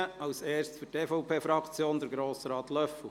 zuerst für die EVP-Fraktion: Grossrat Löffel.